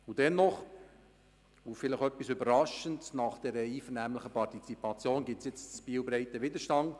Dennoch und etwas überraschend nach der intensiven Partizipation gibt es jetzt in Biel breiten Widerstand.